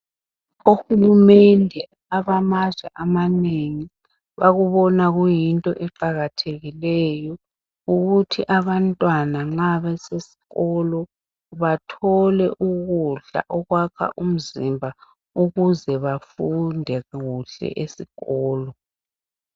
Ohulumende abamazwe amanengi, bakubona kuyinto eqakathekileyo, ukuthi abantwana nxa besikolo bathole ukudla okwakha umzimba, ukuze bafunde kuhle esikolo.